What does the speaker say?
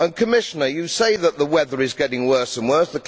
And Commissioner, you say that the weather is getting worse and worse